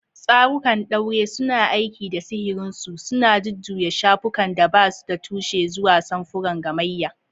Tsarukan ɗaure suna aiki da sihirinsu, suna jujjuya shafukan da ba su da tushe zuwa samfuran gamayya.